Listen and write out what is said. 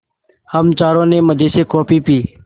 हम चारों ने मज़े से कॉफ़ी पी